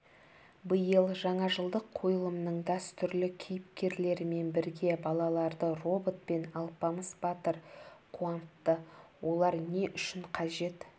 биыл жаңажылдық қойылымның дәстүрлі кейіпкерлерімен бірге балаларды робот пен алпамыс батыр қуантты олар не үшін қажет